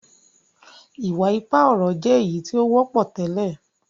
iwa-ipa ọrọ jé èyítí o wọpọ tẹlẹ.